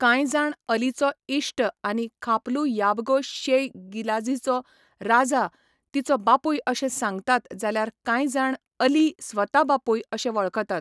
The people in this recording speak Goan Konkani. कांय जाण अलीचो इश्ट आनी खापलू याबगो शेय गिलाझीचो राजा तिचो बापूय अशें सांगतात जाल्यार कांय जाण अली स्वता बापूय अशें वळखतात.